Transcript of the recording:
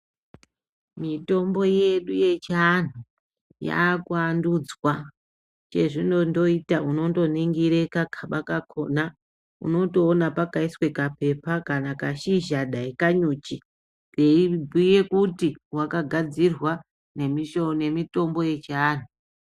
Mitombo yedu yechianhu yakuandutswa ngezvindotooita undotoningire kagaba kakhona unotoona pakaiswe kapepa kana kashizha dai kanyuchi, veibhuye kuti wakagadzirwa ngemitombo yechianhu.